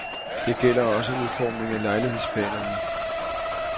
Det gælder også udformningen af lejlighedsplanerne.